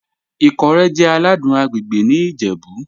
Ikọ́rẹ̀ jẹ́ àlàdùn àgbègbè̀ ní Ìjẹ̀bú.